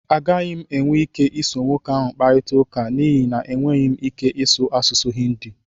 Agaghị m enwe ike iso nwoke ahụ kparịta ụka n'ihi na enweghị m ike ịsụ asụsụ Hindi